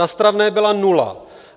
Na stravné byla nula.